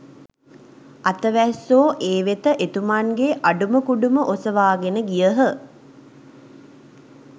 අතවැස්සෝ ඒ වෙත එතුමන්ගේ අඩුම කුඩුම ඔසවාගෙන ගියහ